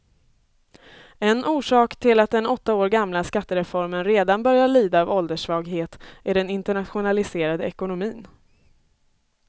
En orsak till att den åtta år gamla skattereformen redan börjar lida av ålderssvaghet är den internationaliserade ekonomin.